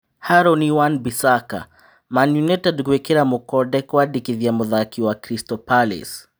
Harûni Wa Bĩ saca: Man Utd gwĩ kĩ ra mũkonde kwandĩ kithia mũthaki wa Crystal Palace.